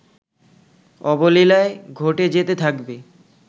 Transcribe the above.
অবলীলায় ঘটে যেতে থাকবে